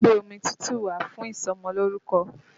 Lọ́ gbé omi tútù wá fún ìsọmọlórúkọ!